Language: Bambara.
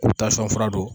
U tasuma fura don